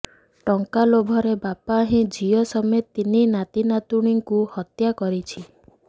ଟଙ୍କା ଲୋଭରେ ବାପା ହିଁ ଝିଅ ସମେତ ତିନି ନାତିନାତୁଣୀଙ୍କୁ ହତ୍ୟା କରିଛି